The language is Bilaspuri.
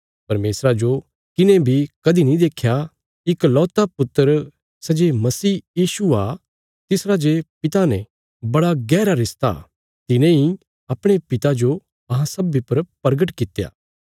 परमेशरा जो किने बी कदीं नीं देख्या इकलौता पुत्र सै जे मसीह यीशु आ तिसरा जे पिता ने बड़ा गैहरा रिश्ता तिने इ अपणे पिता जो अहां सब्बीं पर परगट कित्या